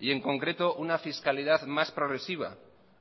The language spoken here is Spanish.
y en concreto una fiscalidad más progresiva